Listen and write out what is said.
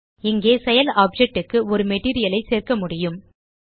இங்கே செயல் ஆப்ஜெக்ட் க்கு ஒரு மெட்டீரியல் ஐ சேர்க்க முடியும்